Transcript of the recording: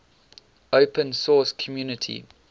open source community